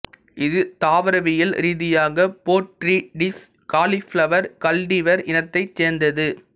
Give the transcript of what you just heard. இது தாவரவியல் ரீதியாக போர்ட்ரிடிஸ் காலிஃபிளவர் கல்டிவர் இனத்தைச் சேர்ந்தது